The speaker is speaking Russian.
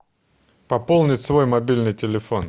пополнить свой мобильный телефон